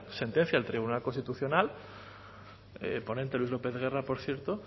sentencia del tribunal constitucional ponente luis lópez guerra por cierto